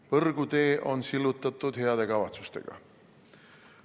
Põrgutee on sillutatud heade kavatsustega.